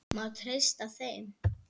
Má treysta þeim?